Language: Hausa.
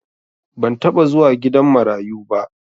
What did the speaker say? ban taba zuwa gidan marayuba